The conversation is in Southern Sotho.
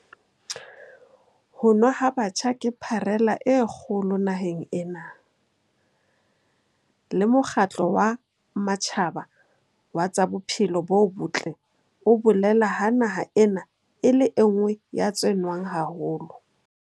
Ho nwa ha batjha ke pharela e kgolo naheng ena, le Mokgatlo wa Matjhaba wa tsa Bophelo bo Botle o bolela ha naha ena e le e nngwe ya tse nwang haholo.